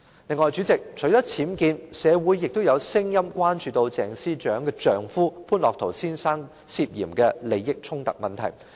此外，主席，除了僭建，社會亦有聲音關注鄭司長的丈夫潘樂陶先生涉嫌利益衝突的問題。